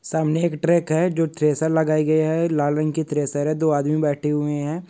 सामने एक ट्रैक है जो थ्रेसर लगाई गई है और लाल रंग की थ्रेसर है दो आदमी बैठे हुए हैं।